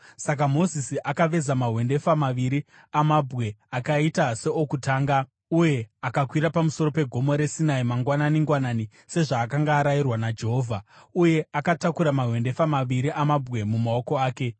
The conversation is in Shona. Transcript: Saka Mozisi akaveza mahwendefa maviri amabwe akaita seokutanga uye akakwira pamusoro pegomo reSinai mangwanani-ngwanani, sezvaakanga arayirwa naJehovha; uye akatakura mahwendefa maviri amabwe mumaoko ake.